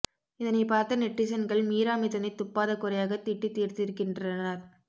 இதனை பார்த்த நெட்டிசன்கள் மீரா மிதுனை துப்பாத குறையாக திட்டி தீர்த்திருக்கின்றனர்